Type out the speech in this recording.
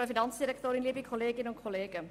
Kommissionssprecherin der FiKo-Minderheit.